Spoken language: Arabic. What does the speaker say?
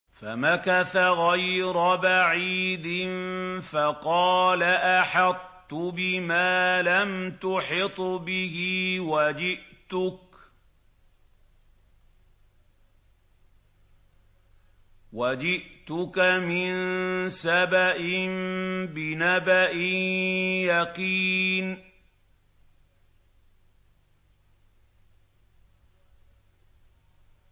فَمَكَثَ غَيْرَ بَعِيدٍ فَقَالَ أَحَطتُ بِمَا لَمْ تُحِطْ بِهِ وَجِئْتُكَ مِن سَبَإٍ بِنَبَإٍ يَقِينٍ